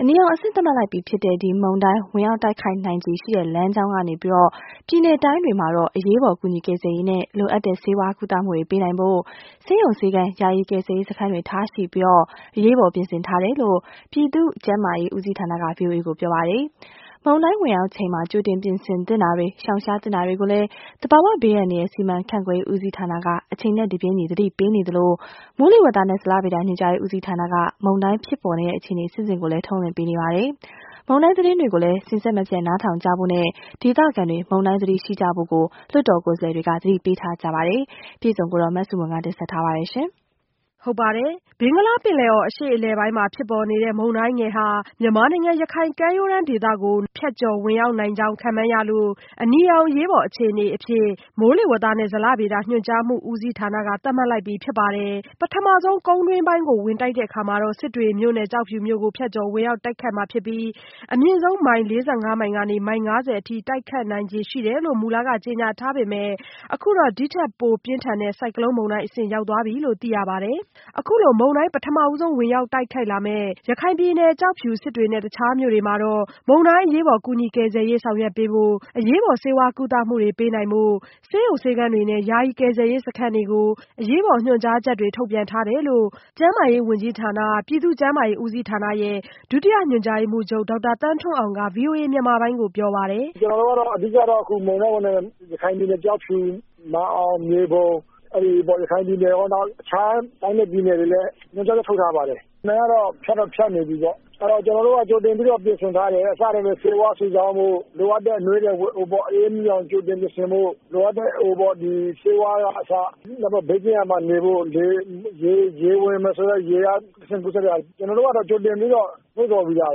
အနီရောင်အဆင့်သတ်မှတ်လိုက်ပြီဖြစ်တဲ့ မုန်တိုင်း ဝင်ရောက်တိုက်ခတ်နိုင်ခြေရှိတဲ့လမ်းကြောင်းက ပြည်နယ်တိုင်းတွေတွေမှာ အရေးပေါ် ကူညီကယ်ဆယ်ရေးနဲ့ လိုအပ်တဲ့ ဆေးဝါးကုသမှုတွေ ပေးနိုင်ဖို့ ဆေးရုံဆေးခန်း ယာယီကယ်ဆယ်ရေးစခန်းတွေထားရှိပြီး အရေးပေါ်ပြင်ဆင်ထားတယ်လို့ ပြည်သူ့ကျန်းမာရေး ဦးစီးဌာနကဗွီအိုအေကိုပြောပါတယ်။ မုန်တိုင်းဝင်ရောက်ချိန် ကြိုတင်ပြင်ဆင်သင့်တာတွေ ရှောင်ရှားသင့်တာတွေကိုလည်း သဘာဝဘေးအန္တရာယ်စီမံခန့်ခွဲမှုဦးစီးဌာနက အချိန်တပြေးညီသတိပေးနေသလို မိုးလေဝသနဲ့ဇလဗေဒညွှန်ကြားမှုဦးစီးဌာနက မုန်တိုင်းဖြစ်ပေါ်နေတဲ့အခြေအနေ အဆင့်ဆင့်ကို ထုတ်လွှင့်ပေးနေပါတယ်။ မုန်တိုင်းသတင်းတွေကို စဉ်ဆက်မပြတ်နားထောင်ကြဖို့နဲ့ ဒေသခံတွေ မုန်တိုင်းသတိရှိကြဖို့လည်း လွှတ်တော်ကိုယ်စားလှယ်တွေကသတိပေးပါတယ်။ မဆုမွန် စုစည်းတင်ပြထားပါတယ်။ ဘင်္ဂလားပင်လယ်အော် အရှေ့အလယ်ပိုင်းမှာ ဖြစ်ပေါ်နေတဲ့ မုန်တိုင်းငယ်ဟာ မြန်မာနိုင်ငံ ရခိုင်ကမ်းရိုးတန်းဒေသကို နာရီပိုင်းအတွင်း ဖြတ်ကျော်ဝင်ရောက်မှာမို့ ရခိုင်ရကမ်းရိုးတန်းဒေသကို အနီရောင်အရေးပေါ်အခြေအနေ အဖြစ် မိုးလေဝသနဲ့ ဇလဗေဒညွှန်ကြားမှုဦးစီးဌာနက သတ်မှတ်ထားပါတယ်။ ပထမဆုံး ကုန်းတွင်းပိုင်းကို ဝင်တိုက်တဲ့အခါ စစ်တွေမြို့နဲ့ ကျောက်ဖြူမြို့ကို ဖြတ်ကျော်ဝင်ရောက် တိုက်ခတ်မှာဖြစ်ပြီး အမြင့်ဆုံး မိုင် မိုင်ကနေ မိုင် အထိ တိုက်ခတ်နိုင်ခြေရှိတယ်လို့ မူလက ကြေညာထားပေမယ့်၊ အခုတော့ ဒီထက်ပို ပြင်းထန်တဲ့ ဆိုင်ကလုံးမုန်တိုင်းအဆင့်ရောက်သွားပြီလို့ သိရပါတယ်။ အခုလို မုန်တိုင်းပထမဆုံး ဝင်ရောက်တိုက်ခတ်လာမယ့် ရခိုင်ပြည်နယ် ကျောက်ဖြူ၊ စစ်တွေနဲ့ တခြားမြို့တွေမှာ မုန်တိုင်းအရေးပေါ်ကူညီကယ်ဆယ်ရေးဆောင်ရွက်ပေးဖို့ အရေးပေါ်ဆေးဝါးကုသမှုတွေ ပေးနိုင်ဖို့ ဆေးရုံဆေးခန်းတွေနဲ့ ယာယီကယ်ဆယ်ရေးစခန်းတွေကို အရေးပေါ်ညွှန်ကြားချက် ထုတ်ပြန်ထားတယ်လို့ ကျန်းမာရေးဝန်ကြီးဌာန ပြည်သူ့ကျန်းမာရေးဦးစီးဌာန ဒုတိယညွှန်ကြားမှုးချုပ်ဒေါက်တာသန်းထွန်းအောင်က ဗွီအိုအေမြန်မာပိုင်းကိုပြောပါတယ်။ "ကျနော်တို့ကတော့ အဓိကတော့ အခုရခိုင်ပြည်နယ် ကျောက်ဖြူ၊ မြန်အောင်၊ မြေပုံ နောက်ပြီး အခြားတိုင်းနဲ့ ပြည်နယ်တွေလည်း ညွှန်ကြားချက်ထုတ်ထားပါတယ် ။ မုန်တိုင်းကတော့ ဖြတ်တော့ ဖြတ်နေပြီပေါေ့နာ်။ အဲဒါ ကျနော်တို့က ကြိုတင်ပြင်ဆင်ထားတယ် ဆေးဝါးစုဆောင်းဖို့ လိုအပ်တဲ့ အနွေးအထည်ဝတ်ဖို့၊ အအေးမမိအောင် ကြိုတင်ပြင်ဆင်ဖို့ လိုအပ်တဲ့ ဆေးဝါးကအစ ဘေးကင်းရာမှာနေဖို့၊ ရေဝင်မယ်ဆိုရင် ရေကတဆင့် ကူးစက်တဲ့ရောဂါတွေ ကျနော်တို့ကတော့ ကြိုတင်ပြီးတော့ လုံ့ဆော်ပြီးသား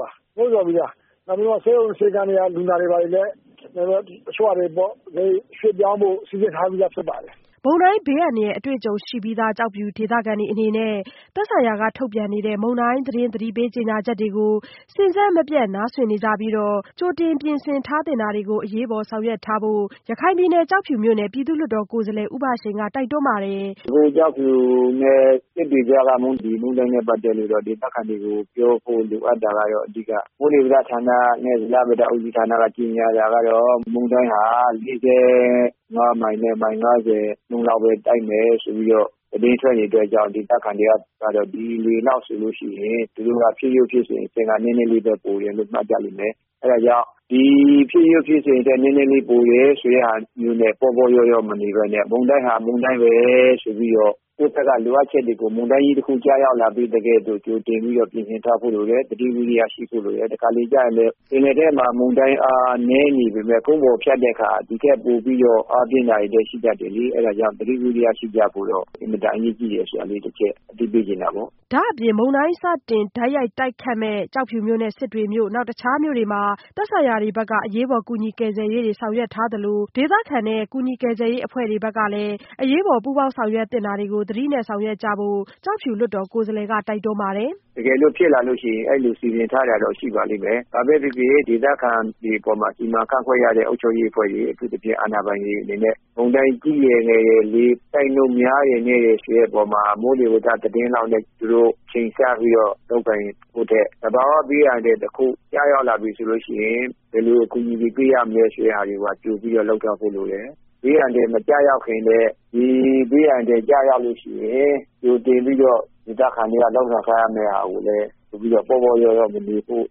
ပါ။ နောက်ပြီးတော့ ဆေးရုံဆေးခန်းက လူနာတွေလည်း တချို့ဟာတွေပေါ့နော် ရွှေ့ဖို့စီစည်ထားပြီးသားဖြစ်ပါတယ်။" မုန်တိုင်းအန္တရာယ်အတွေ့ကြုံရှိထားပြီးဖြစ်ပေမဲ့လို့ ကျောက်ဖြူဒေသခံတွေ အနေနဲ့ သက်ဆိုင်ရာက ထုတ်ပြန်နေတဲ့ မုန်တိုင်းသတင်း သတိပေးကြေညာချက်တွေကို စဉ်ဆက်မပြတ်နားစွင့်နေကြပြီး ကြိုတင်ပြင်ဆင် ထားသင့်တာတွေကို အရေးပေါ်ဆောင်ရွက်ထားဖို့ ရခိုင်ပြည်နယ် ကျောက်ဖြူမြို့နယ် ပြည်သူ့လွှတ်တော်ကိုယ်စားလှယ် ဦးဘရှိန်က တိုက်တွန်းပါတယ်။ "ဒီ ကျောက်ဖြူနဲ့ စစ်တွေကြားက မှန်တိုင်းနဲ့ ပတ်သက်လို့ပေါ့နော် ဒေသခံတွေလိုအပ်တာက မိုးလေဝသနဲ့ဇလဗေဒညွှန်ကြားမှုဦးစီးဌာနက ကြေညာတာကတော့ မုန်တိုင်းဟာ ၄၅ မိုင်- ၅၀ နှန်း လောက်ပဲ တိုက်မယ်ဆိုပြီး သတင်းထွက်နေတယ်ဆိုတော့ ဒေသခံတွေက ဒီလေလောက်ဆိုရင် ဖြစ်ရိုးဖြစ်စဉ်အဖြစ်က နည်းနည်းလေးလောက်ပဲပိုတယ်လို့ မှတ်ကြလိမ့်မယ်။ အဲဒါကြောင့် ဖြစ်ရိုးဖြစ်စဉ်အဖြစ်က နည်းနည်းလေးပိုတယ်ဆိုပြီး ပေါ့ပေါ့လျော့လျော့မနေပဲနဲ့ မုန်တိုင်းဟာမုန်တိုင်းပဲဆိုပြီးတော့ ကိုယ့်ဘက်က လိုအပ်တာတွေကို မုန်တိုင်းကြီးတခု ကျရောက်လာသကဲ့သို့ ကြိုတင်ပြင်ဆင်ထားဖို့လိုတယ်။ သတိဝီရိယရှိဖို့လိုတယ်။ တခါတလေကျရင် ပင်လယ်ထဲမှာ မုန်တိုင်းအားနည်းနေပေမယ့် ကုန်းပေါ်ဖြတ်ရင် ဒီထက်ပိုပြီးတော့ အားပြင်းတာတွေရှိတတ်တယ်။ အဲဒါကြောင့် သတိဝီရိယရှိဖို့ အင်မတန်အရေးကြီးတယ် ဒါလေးတချက်သတိပေးချင်ပါတယ်။" ဒါ့အပြင် မုန်တိုင်းစတင်တိုက်ရိုက်တိုက်ခတ်မယ့် ကျောက်ဖြူမြို့နဲ့ စစ်တွေမြို့တွေမှာ သက်ဆိုင်ရာဘက်က အရေးပေါ်ကူညီကယ်ဆယ်ရေးတွေ ဆောင်ရွက်ထားသလို ဒေသခံတွေနဲ့ ကူညီကယ်ဆယ်ရေးအဖွဲ့တွေ အရေးပေါ်ပူးပေါင်းဆောင်ရွက်သင့်တာတွေကိုလည်း သတိနဲ့ဆောင်ရွက်ကြဖို့ ကျောက်ဖြူလွှတ်တော်ကိုယ်စားလှယ်က တိုက်တွန်းပါတယ်။ "တကယ်လို့ ဖြစ်လာရင်တော့ အဲဒီလို စီစဉ်ထားတာတော့ရှိပါလိမ့်မယ် ဘာပဲဖြစ်ဖြစ် ဒေသခံတွေအပေါ်မှာ စီမံခန့်ခွဲရတဲ့ အုပ်ချုပ်ရေးအဖွဲ့တွေ၊ အထူးသဖြင့်အာဏာပိုင်တွေအနေနဲ့ မုန်တိုင်းကြီးတယ် ငယ်တယ်၊ လေတိုက်နှုန်းများတယ် နည်းတယ် ဆိုတဲ့ မိုးလေဝသ သတင်းလောက်နဲ့ သူတို့ ချိန်ဆပြီးတော့ လုပ်ကိုင်ဖို့ထက် သဘာဝ ဘေးအန္တရာယ်တခုကျပြီဆိုရင် ဘယ်လိုအကူအညီတွေ ပေးရမလဲ ဆိုတာတွေကိုပါ လုပ်ထားဖို့လိုတယ်။ ဘေးအန္တရာယ်မကျရောက်ခင်နဲ့ ဘေးအန္တရာယ်ကျရောက်ပြီဆိုရင် ကြိုတင်ပြီးတော့ ဒေသခံတွေ လုပ်ဆောင်ထားရမယ့်ဟာတွေကိုလည်း ပေါ့ပေါ့လျော့လျော့မနေဖို့၊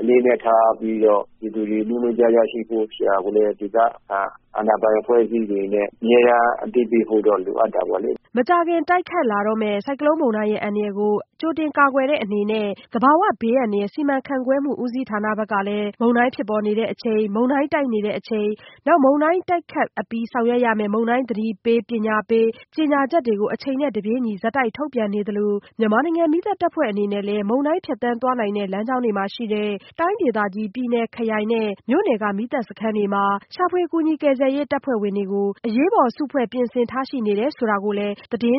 အလေးအနက်ထားပြီးတော့ ပြည်သူတွေ နိုးနိုးကြားကြားရှိဖို့ဆိုတာကိုလည်း ဒေသခံ အာဏာပိုင်အဖွဲ့အစည်းတွေနဲ့ အမြဲတမ်း အသိပေးဖို့တော့ လိုအပ်တာပေါေ့လ။" မကြာခင် တိုက်ခတ်လာတော့မယ့် ဆိုင်ကလုန်းမုန်တိုင်းရဲ့ အန္တရာယ်ကို ကြိုတင်ကာကွယ်တဲ့အနေနဲ့ သဘာဝဘေးအန္တရာယ်စီမံခန့်ခွန်မှုဦးစီးဌာနဘက်ကလည်း မုန်တိုင်းဖြစ်ပေါ်ချိန်နဲ့ မုန်တိုင်းတိုက်နေချိန် နောက် မုန်တိုင်းတိုက်ခတ်အပြီး ဆောင်ရွက်ရမယ့် မုန်တိုင်းသတိပေးပညာေ့ပးကြေညာချက်တွေကို အချိန်နဲ့တပြေးညီ ထုတ်ပြန်နေသလို မြန်မာနိုင်ငံ မီးသတ်တပ်ဖွဲ့အနေနဲ့လည်း မုန်တိုင်းဖြတ်သန်းသွားနိုင်တဲ့ လမ်းကြောင်းတွေမှာရှိတဲ့ တိုင်းဒေသကြီး/ပြည်နယ်၊ ခရိုင်နဲ့ မြို့နယ်မီးသတ်စခန်းတွေမှာ ရှာဖွေကယ်ဆယ်ရေးတပ်ဖွဲ့ဝင်များအား အရေးပေါ် အသင့်စုဖွဲ့ပြင်ဆင်ထားရှိနေဆိုတာကိုလည်း သတင်း